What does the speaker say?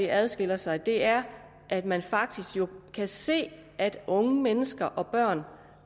adskiller sig er at man faktisk jo kan se at unge mennesker og børn